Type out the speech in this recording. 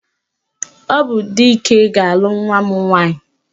Ọ bụ Dike ga-alụ nwa m nwaanyị